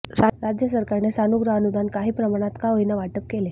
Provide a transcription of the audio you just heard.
राज्य सरकारने सानुग्रह अनुदान काही प्रमाणात का होईना वाटप केले